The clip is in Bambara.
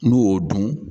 N'u y'o dun